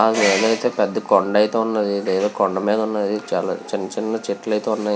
అక్కడ పెద్ద కొండ అయితే ఉంది. కొండ మీద చిన్న చిన్న చెట్లు అయితే ఉన్నాయి.